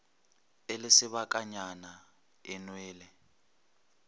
e le sebakanyana e nwele